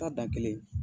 Taa dan kelen